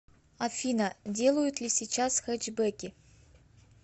афина делают ли сейчас хэтчбеки